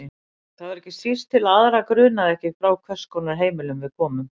Það var ekki síst til að aðra grunaði ekki frá hvers konar heimili við komum.